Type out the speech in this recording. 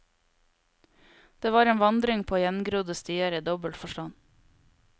Det var en vandring på gjengrodde stier i dobbel forstand.